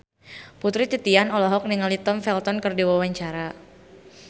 Putri Titian olohok ningali Tom Felton keur diwawancara